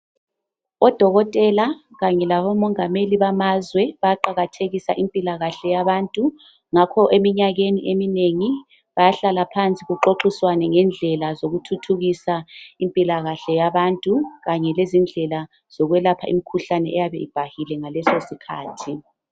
Odokotela kanye labomongameli bamazwe bayaqakathekisa impilakhahle yabantu. Ngakho eminyakeni eminengi bayahlala phansi baxoxisane ngendlela zokuthuthukisa impilakahle yabantu kanye lezindlela zokwelapha imikhuhlane eyabe ibhahile ngaleso sikhathi.